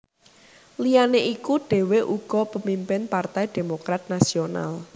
Liyané iku dhèwé uga pemimpin Partai Demokrat Nasional